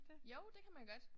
Jo det kan man godt